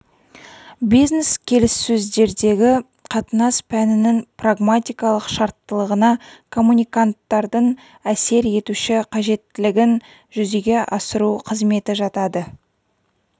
бизнес-келіссөздердегі қатынас пәнінің прагматикалық шарттылығына коммуниканттардың әсер етуші қажеттілігін жүзеге асыру қызметі жатады